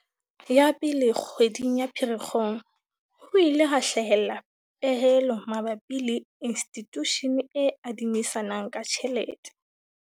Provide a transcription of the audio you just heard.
Ya pele, kgweding ya Pherekgong ho ile ha hlahella pehelo mabapi le institushene e adimisanang ka tjhelete.